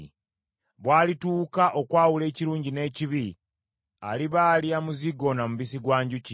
Bw’alituuka okwawula ekirungi n’ekibi aliba alya muzigo na mubisi gwa njuki.